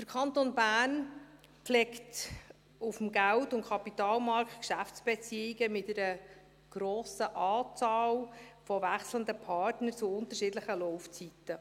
Der Kanton Bern pflegt auf dem Geld- und Kapitalmarkt Geschäftsbeziehungen mit einer grossen Anzahl wechselnder Partner zu unterschiedlichen Laufzeiten.